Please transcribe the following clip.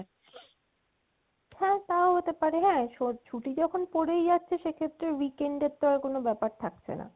হ্যা তাও হতে পারে হ্যা ছুটি যখন পরেই আছে সেক্ষেত্রে weekend এর তো আর কোনো দরকার থাকছে না